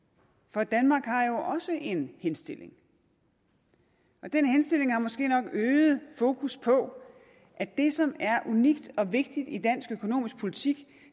for danmark har jo også fået en henstilling og den henstilling har måske nok øget fokus på at det som er unikt og vigtigt i dansk økonomisk politik